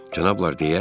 Cənablar!